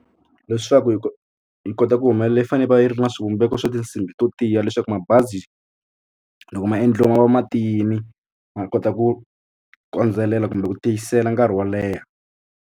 Leswaku yi ko yi kota ku humelela yi fanele yi va yi ri na swivumbeko swa tinsimbhi to tiya leswaku mabazi loko ma endliwe ma va matiyini ma kota ku kondzelela kumbe ku tiyisela nkarhi wo leha.